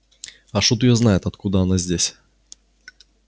а шут её знает откуда она здесь